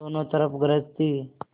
दोनों तरफ गरज थी